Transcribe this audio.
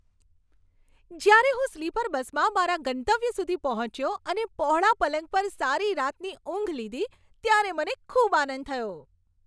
જ્યારે હું સ્લીપર બસમાં મારા ગંતવ્ય સુધી પહોંચ્યો અને પહોળા પલંગ પર સારી રાતની ઊંઘ લીધી, ત્યારે મને ખૂબ આનંદ થયો.